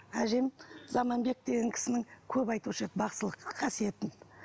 әжем заманбек деген кісінің көп айтушы еді бақсылық қасиетін